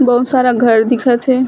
बहुत सारा घर दिखत हे।